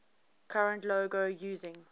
current logo using